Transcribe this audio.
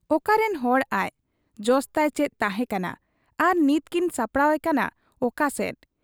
ᱚᱠᱟᱨᱤᱱ ᱦᱚᱲ ᱟᱡ ᱾ ᱡᱚᱥᱛᱟᱭ ᱪᱮᱫ ᱛᱟᱦᱮᱸ ᱠᱟᱱᱟ ᱟᱨ ᱱᱤᱛ ᱠᱤᱱ ᱥᱟᱯᱲᱟᱣ ᱮᱠᱟᱱᱟ ᱚᱠᱟᱥᱮᱫ ?